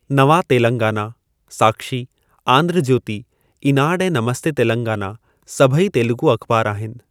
नवा तेलंगाना, साक्षी, आंध्र ज्योति, ईनाडु ऐं नमस्ते तेलंगाना सभेई तेलुगू अख़बार आहिनि।